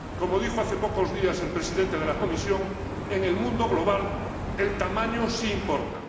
Como ha dicho hace pocos días el Presidente de la Comisión, en el mundo global el tamaño sí importa.